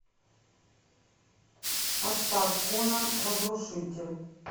поставь конан разрушитель